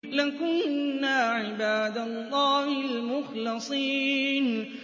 لَكُنَّا عِبَادَ اللَّهِ الْمُخْلَصِينَ